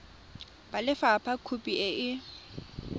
ba lefapha khopi e e